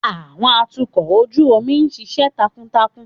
Àwọn atukọ̀ ojú omi ń ṣiṣẹ́ takuntakun.